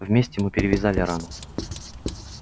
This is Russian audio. вместе мы перевязали рану